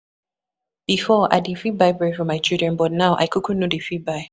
Before, I dey fit buy bread for my children but now I no dey fit buy.